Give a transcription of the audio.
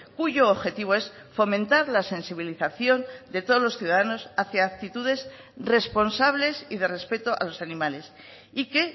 cuyo objetivo es fomentar la sensibilización de todos los ciudadanos hacia actitudes responsables y de respeto a los animales y que